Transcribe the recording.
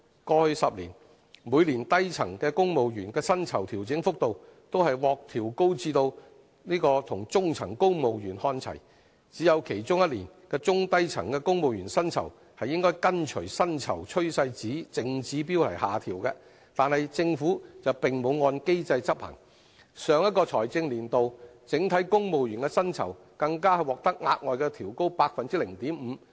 過去10年，每年低層公務員薪酬調整幅度都獲調高至跟中層公務員看齊，只有其中一年，中低層公務員薪酬應跟隨薪酬趨勢淨指標下調，但政府並沒有按機制執行，上一個財政年度整體公務員薪酬更獲額外調高 0.5%。